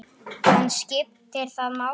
En skiptir það máli?